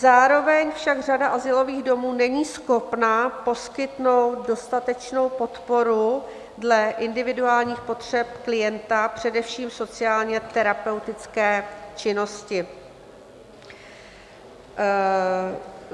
Zároveň však řada azylových domů není schopna poskytnout dostatečnou podporu dle individuálních potřeb klienta, především sociálně terapeutické činnosti.